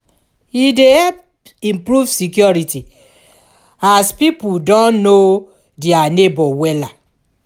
e dey help improve security as pipo don know dia neibor wella